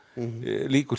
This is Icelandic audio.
lýkur